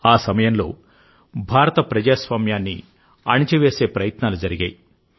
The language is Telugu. ఆ సమయంలో భారత ప్రజాస్వామ్యాన్ని అణచివేసే ప్రయత్నాలు జరిగాయి